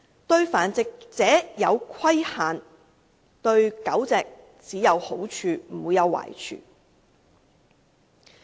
對繁殖者施加規限，對狗隻只有好處而不會有壞處。